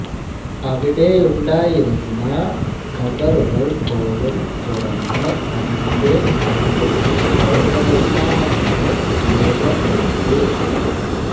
അവിടെയുണ്ടായിരുന്ന ഖബ്റുകൾ പോലും തുറന്ന് അതിന്റെ കല്ലുകൾ കോട്ട നിർമ്മാണത്തിന് ഉപയോഗപ്പെടുത്തി